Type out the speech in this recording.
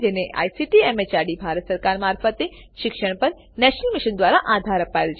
જેને ICT MHRD Bharat સરકાર મારફતે શિક્ષણ પર નેશનલ મિશન દ્વારા આધાર અપાયેલ છે